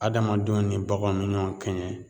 Adamadenw ni baganw bɛ ɲɔgɔn kɛɲɛ